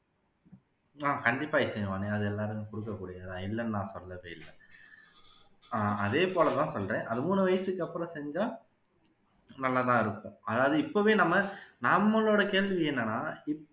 ஆஹ் கண்டிப்பா இசைவாணி அது எல்லாத்துக்கும் கொடுக்கக்கூடியது தான் இல்லன்னு நான் சொல்லவே இல்ல ஆஹ் அதே போல தான் சொல்றேன் அதை மூணு வயசுக்கு அப்பறம் செஞ்சா நல்லாதான் இருக்கும் அதாவது இப்போவே நம்ம நம்மளோட கேள்வி என்னன்னா இப்போ